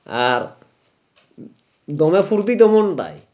আর দমে ফুরতি তেমন নাই